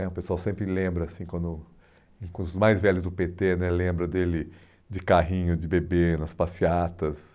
né o pessoal sempre lembra assim, quando, com os mais velhos do pê tê né, lembra dele de carrinho de bebê nas passeatas.